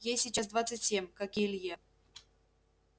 ей сейчас двадцать семь как и илье